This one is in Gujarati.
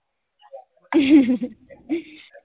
હા